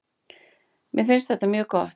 Mér finnst þetta mjög gott.